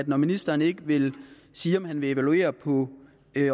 når ministeren ikke vil sige om han vil evaluere på